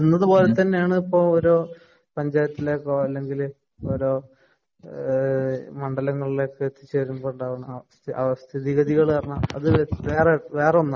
അവിടത്തെ പോലയാണ് ഇപ്പൊ ഒരു പഞ്ചായത്തിലേക്കോ, അല്ലെങ്കില് ഓരോ മണ്ഡലങ്ങളിലേക്കോ എത്തി ചേരുമ്പോള്‍ ഉണ്ടാകുന്ന അവസ്ഥ സ്ഥിതിഗതികള്‍ അത് വേറൊന്നാണ്‌